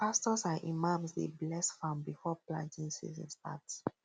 pastors and imams dey bless farm before planting season um start